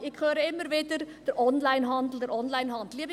: Ich höre immer wieder: der Onlinehandel, der Onlinehandel.